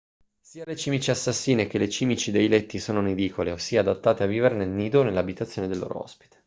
sia le cimici assassine che le cimici dei letti sono nidicole ossia adattate a vivere nel nido o nell'abitazione del loro ospite